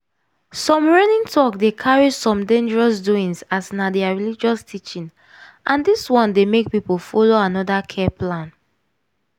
some reigning talk dey carry some dangerous doings as na their religious teaching and dis one dey make people follow another care plan.